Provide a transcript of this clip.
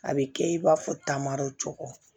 A bɛ kɛ i b'a fɔ taama dɔ cɔɔɔ